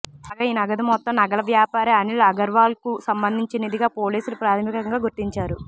కాగా ఈ నగదు మొత్తం నగల వ్యాపారి అనిల్ అగర్వాల్కు సంబంధించినదిగా పోలీసులు ప్రాథమికంగా గుర్తించారు